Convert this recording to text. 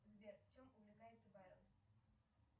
сбер чем увлекается байрон